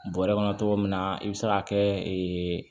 Bɔrɛ kɔnɔ cogo min na i bɛ se k'a kɛ